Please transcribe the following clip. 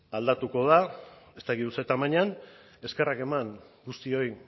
aldatuko da ez dakit ze tamainan eskerrak eman guztioi